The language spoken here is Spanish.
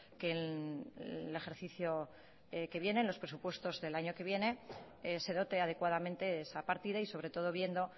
que el ejercicio que viene los presupuestos del año que viene se dote adecuadamente esa partida y sobre todo viendo